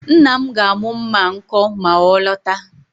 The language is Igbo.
Nna m ga-amụ mma a nkọ ma ọ lọta